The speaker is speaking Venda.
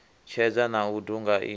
tshedza na u duga i